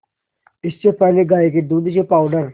इससे पहले गाय के दूध से पावडर